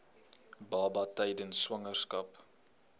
baba tydens swangerskap